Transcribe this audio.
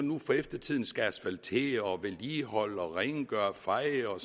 nu for eftertiden skal asfaltere vedligeholde rengøre feje og